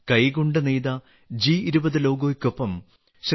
കൈകൊണ്ട് നെയ്ത ജി20 ലോഗോയ്ക്കൊപ്പം ശ്രീ